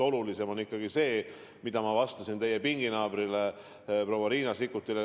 Olulisem on ikkagi see, mida ma vastasin teie pinginaabrile proua Riina Sikkutile.